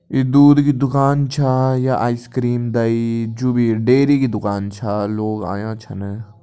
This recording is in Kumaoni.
ई दूध की दुकान छ या आइसक्रीम दही जू भी डेरी की दुकान छ लोग आयां छन।